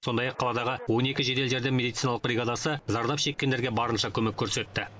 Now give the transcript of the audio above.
сондай ақ қаладағы он екі жедел жәрдем медициналық бригадасы зардап шеккендерге барынша көмек көрсетті